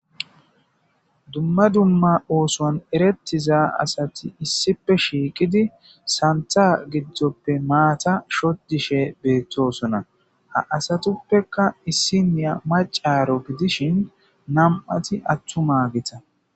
Dumma dumma oson erettiza assati issippe shiqidi sanththa giddope maata shodishe bettosona ha asatappeka issiniya macca gidishin nam'aykka attuma asa.